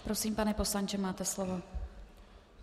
Prosím, pane poslanče, máte slovo.